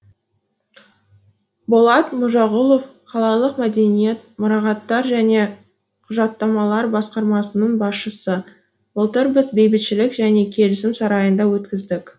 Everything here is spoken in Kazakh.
болат мажағұлов қалалық мәдениет мұрағаттар және құжаттамалар басқармасының басшысы былтыр біз бейбітшілік және келісім сарайында өткіздік